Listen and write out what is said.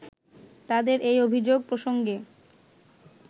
তাদের এই অভিযোগ প্রসঙ্গে